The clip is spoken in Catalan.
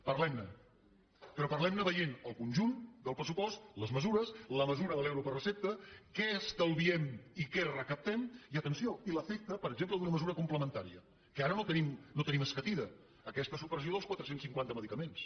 parlem ne però parlem ne veient el conjunt del pressupost les mesures la mesura de l’euro per recepta què estalviem i què recaptem i atenció l’efecte per exemple d’una mesura complementària que no ara no tenim escatida aquesta supressió dels quatre cents i cinquanta medicaments